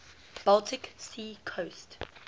baltic sea coast